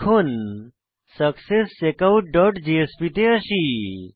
এখন successcheckoutজেএসপি তে আসি